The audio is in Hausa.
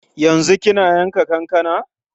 Yanzu kina yanka kankana?